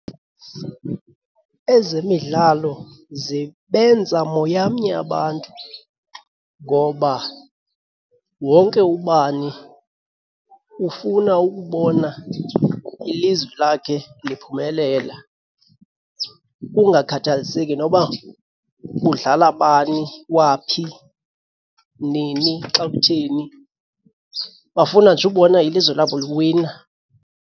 Ezemidlalo zibenza moyamnye abantu ngoba wonke ubani ufuna ukubona ilizwe lakhe liphumelela. Kungakhathaliseki noba kudlala bani, waphi, nini, xa kutheni, bafuna nje ubona ilizwe labo liwina.